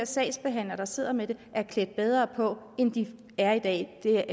sagsbehandlere der sidder med det er klædt bedre på end de er i dag der